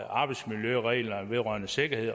arbejdsmiljøreglerne vedrørende sikkerhed